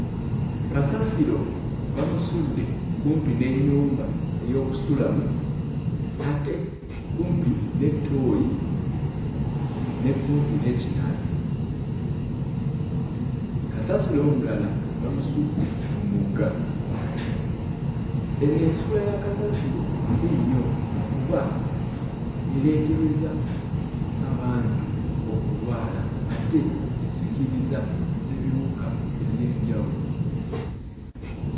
Kasasiro bamusudde kumpi n'ennyumba ey'okusulamu ate kumpi ne ttooyi ne kumpi n'ekinaabiro kasasiro omulala bamusudde mu mugga. Eno ensuula ya kasasiro mbi nnyo kuba ereetereza abantu okulwala ate esikiriza ebiwuka eby'enjawulo.